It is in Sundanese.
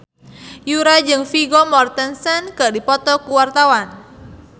Yura jeung Vigo Mortensen keur dipoto ku wartawan